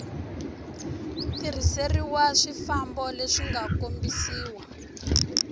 tirhiseriwa swifambo leswi nga kombisiwa